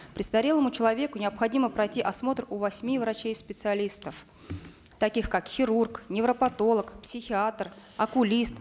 престарелому человеку необходимо пройти осмотр у восьми врачей специалистов таких как хирург невропатолог психиатр окулист